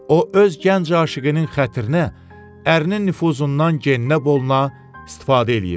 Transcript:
O öz gənc aşiqinin xatirinə ərinin nüfuzundan geninə boluna istifadə eləyirdi.